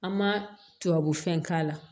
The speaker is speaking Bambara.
An ma tubabu fɛn k'a la